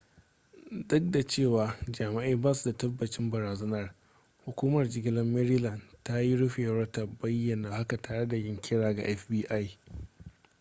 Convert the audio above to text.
duk da cewa jami'ai basu da tabbacin barazanar hukumar jigilar maryland ta yi rufewar ta bayyana haka tare da yin kira ga fbi